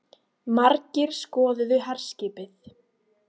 Margir skoðuðu herskipið